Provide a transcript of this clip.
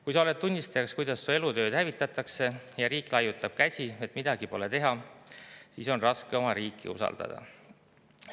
Kui sa oled tunnistajaks, kuidas su elutööd hävitatakse, ja riik laiutab käsi, et midagi pole teha, siis on raske oma riiki usaldada.